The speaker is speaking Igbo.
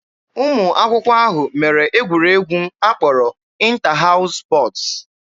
Ụmụ akwụkwọ ahụ mere egwuregwu a kpọrọ 'ịnta haụs spọtz'